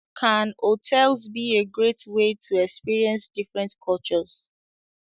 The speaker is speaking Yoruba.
Can hotels be a great way to experience different cultures?